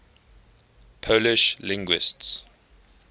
polish linguists